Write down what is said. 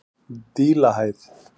Dílahæð